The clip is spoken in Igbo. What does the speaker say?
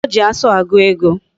O ji asu agu ego